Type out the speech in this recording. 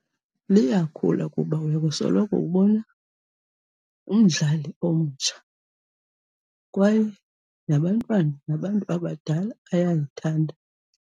Liyakhula kuba uya kusoloko ubona umdlali omtsha kwaye nabantwana nabantu abadala bayalithanda.